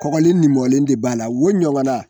Kɔgɔlen ni mɔlen de b'a la o ɲɔgɔn na.